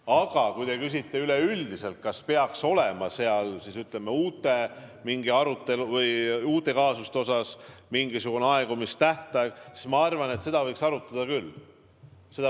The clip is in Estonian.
Aga kui te küsite üleüldiselt, kas peaks olema mingite uute kaasuste puhul mingisugune aegumistähtaeg, siis ma arvan, et seda võiks arutada küll.